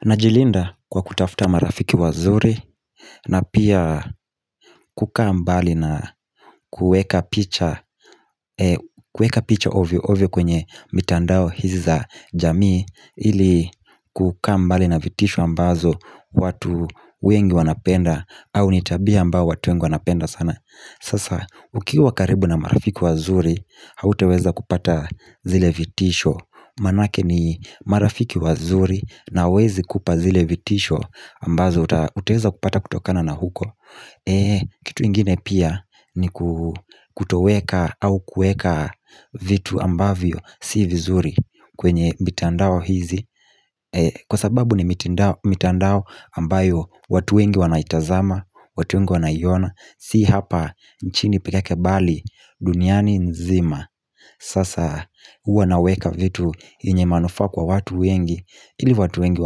Najilinda kwa kutafuta marafiki wazuri na pia kukaa mbali na kuweka picha ovyo ovyo kwenye mitandao hizi za jamii ili kukaa mbali na vitisho ambazo watu wengi wanapenda au ni tabia ambayo watu wengi wanapenda sana Sasa ukiwa karibu na marafiki wazuri hautaweza kupata zile vitisho Manake ni marafiki wazuri na hawawezi kupa zile vitisho ambazo utaweza kupata kutokana na huko Kitu kingine pia ni kutoweka au kuweka vitu ambavyo si vizuri kwenye mitandao hizi Kwa sababu ni mitandao ambayo watu wengi wanaitazama, watu wengi wanaiona si hapa nchini peka kbali duniani nzima Sasa huwa naweka vitu yenye manufaa kwa watu wengi ili watu wengi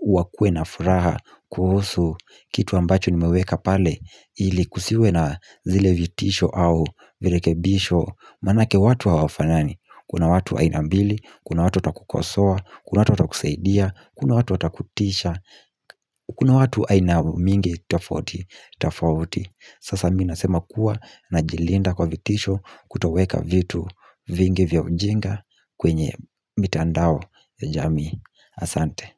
wakuwe na furaha kuhusu kitu ambacho nimeweka pale ili kusiwe na zile vitisho au virekebisho Manake watu wa hawafanani Kuna watu aina mbili, kuna watu watakukosoa, kuna watu watakusaidia, kuna watu watakutisha kuna watu aina mingi tofauti tofauti Sasa mimi ninasema kuwa ninajilinda kwa vitisho kutoweka vitu vingi vya ujinga kwenye mitandao ya jamii asante.